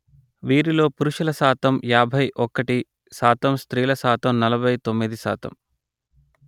వీరిలో పురుషుల శాతం యాభై ఒకటి% స్త్రీల శాతం నలభై తొమ్మిది%